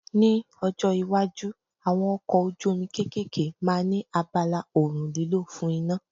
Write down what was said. Ní ọjọ́ iwájú, àwọn ọkọ̀ ojú omi kéékèèké máa ní abala oòrùn lílò fún iná.